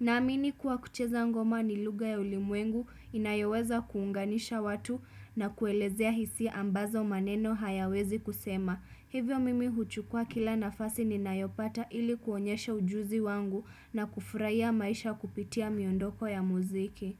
Naamini kuwa kucheza ngoma ni lugha ya ulimwengu inayoweza kuunganisha watu na kuelezea hisia ambazo maneno hayawezi kusema. Hivyo mimi huchukua kila nafasi ninayopata ili kuonyesha ujuzi wangu na kufuraia maisha kupitia miondoko ya muziki.